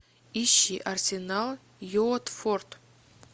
ищи арсенал уотфорд